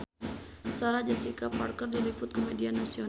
Sarah Jessica Parker diliput ku media nasional